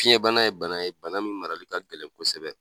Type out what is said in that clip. Fiɲɛbana ye bana ye, bana min mara ka gɛlɛn kosɛbɛ.